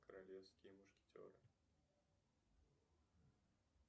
королевские мушкетеры